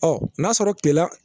Ɔ n'a sɔrɔ gɛlɛya